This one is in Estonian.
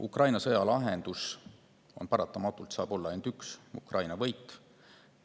Ukraina sõja lahendus saab olla ainult üks: Ukraina võit.